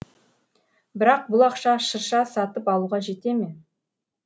бірақ бұл ақша шырша сатып алуға жете ме